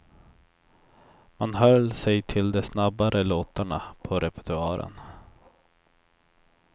Man höll sig till de snabbare låtarna på repertoaren.